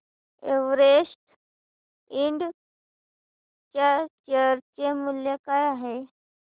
Everest Ind च्या share चे मूल्य काय आहे